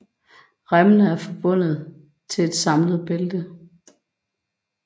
Remmene er forbundet til et samlet bælte